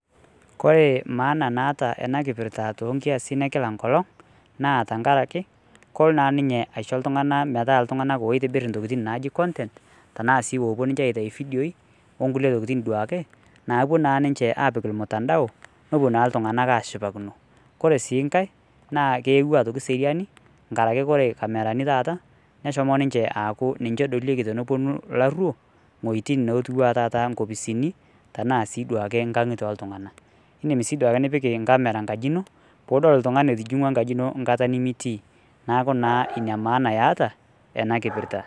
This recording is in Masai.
kore maana naata ena kipirrta tonkiasin ekila nkolong naa tenkaraki kolo naa ninye aisho iltung'anak metaa iltung'anak loitobirr intokitin naaji content tanaa sii opuo ninche aitai ifidioi onkulie tokitin duo ake napuo naa ninche apik ilmutandao nopuo naa iltung'anak ashipakino kore sii nkae naa kewua aitoki seriani nkarake kore kamerani taata neshomo ninchee aaku ninche edolieki tenoponu ilarruok ing'uejitin natiwua taata nkopisini tenaa sii duake inkang'itie oltung'anak indim sii duake nipik inkamera nkaji ino pudol iltung'ani etijing'ua nkaji ino nkata nemitii naaku naa inia maana eeta ena kipirrta.